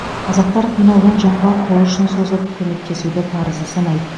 қазақтар қиналған жанға қол ұшын созып көмектесуді парызы санайды